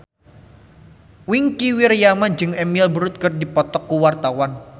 Wingky Wiryawan jeung Emily Blunt keur dipoto ku wartawan